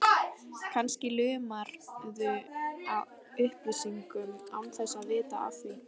Kannski lumarðu á upplýsingum án þess að vita af því.